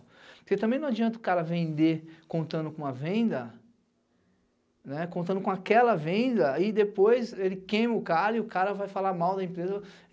Porque também não adianta o cara vender contando com uma venda, contando com aquela venda e depois ele queima o cara e o cara vai falar mal da empresa.